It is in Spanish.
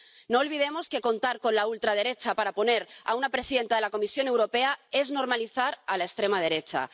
No olvidemos que contar con la ultraderecha para poner a una presidenta de la Comisión Europea es normalizar a la extrema derecha.